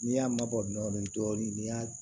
N'i y'a mabɔ dɔɔnin dɔɔnin ni y'a